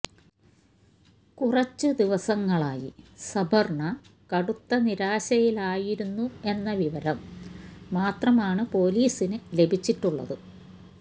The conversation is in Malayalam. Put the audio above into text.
കുറച്ചു ദിവസങ്ങളായി സബര്ണ്ണ കടുത്ത നിരാശയിലായിരുന്നു എന്ന വിവരം മാത്രമാണ് പൊലീസിന് ലഭിച്ചിട്ടുള്ളത്